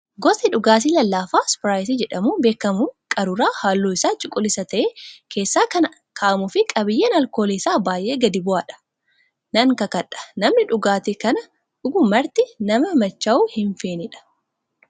Gosti dhugaatii lallaafaa ispiraayitii jedhamuun beekamu qaruuraa halluun isaa cuquliisa ta'e keessa kan kaa'amuu fi qabiyyeen alkoolii isaa baay'ee gadi bu'aadha. Nan kakadhaa namni dhugaatii kana dhugu marti nama machaa'uu hin feenedha.